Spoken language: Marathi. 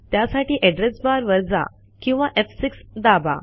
त्यासाठी एड्रेस बार वर जा किंवा एफ6 दाबा